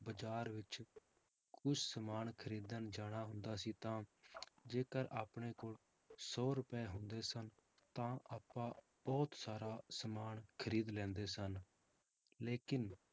ਬਾਜ਼ਾਰ ਵਿੱਚ ਕੋਈ ਸਮਾਨ ਖ਼ਰੀਦਣ ਜਾਣਾ ਹੁੰਦਾ ਸੀ ਤਾਂ ਜੇਕਰ ਆਪਣੇ ਕੋਲ ਸੌ ਰੁਪਏ ਹੁੰਦੇ ਸਨ, ਤਾਂ ਆਪਾਂ ਬਹੁਤ ਸਾਰ ਸਮਾਨ ਖ਼ਰੀਦ ਲੈਂਦੇ ਸਨ ਲੇਕਿੰਨ